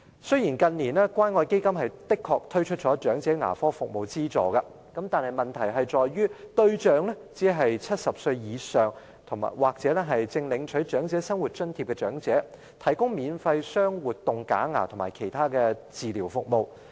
雖然近年關愛基金的確推出了長者牙科服務資助計劃，但問題在於對象只是為70歲以上或正在領取長者生活津貼的長者，提供免費鑲活動假牙和其他治療服務。